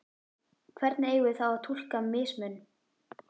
Hvernig eigum við þá að túlka mismun?